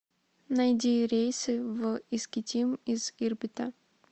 найди рейсы в искитим из ирбита